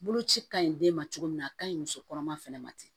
Boloci ka ɲi den ma cogo min na a ka ɲi muso kɔnɔma fɛnɛ ma ten